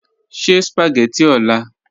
Sẹ̀ spagẹttị ọ̀là.